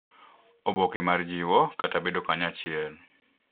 Oboke mar jiwo, kata bedo kanyachiel